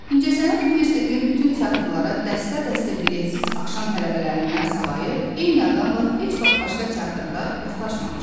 İncəsənət Universitetinin bütün teatrlara dəstə-dəstə biletsiz axşam tələbələrindən savayı, eyni adamla heç vaxt başqa teatrda rastlaşmamışdı.